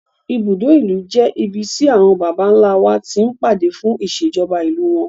Ibùdó ìlú jẹ́ ibi tí àwọn Bàbá ńlá wa ti ń pàdé fún ìṣèjọba ìlú wọn.